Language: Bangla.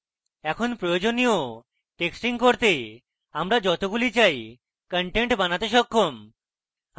এখন প্রয়োজনীয় testing করতে আমরা যতগুলি চাই content বানাতে সক্ষম